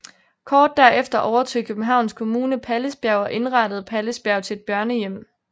Kort derefter overtog Københavns Kommune Pallisbjerg og indrettede Pallisbjerg til et børnehjem